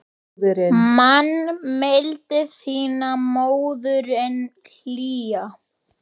Man mildi þína móðirin hlýja.